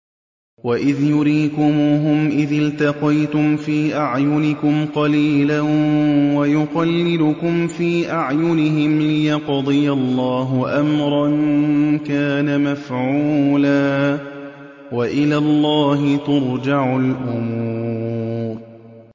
وَإِذْ يُرِيكُمُوهُمْ إِذِ الْتَقَيْتُمْ فِي أَعْيُنِكُمْ قَلِيلًا وَيُقَلِّلُكُمْ فِي أَعْيُنِهِمْ لِيَقْضِيَ اللَّهُ أَمْرًا كَانَ مَفْعُولًا ۗ وَإِلَى اللَّهِ تُرْجَعُ الْأُمُورُ